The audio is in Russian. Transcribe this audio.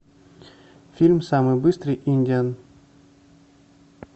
фильм самый быстрый индиан